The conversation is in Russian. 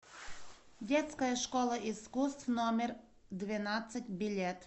детская школа искусств номер двенадцать билет